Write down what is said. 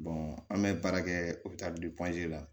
an bɛ baara kɛ u bɛ taa la